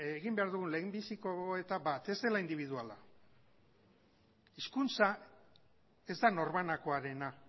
egin behar dugun lehendabiziko gogoeta da ez dela indibiduala hizkuntza ez da norbanakoarena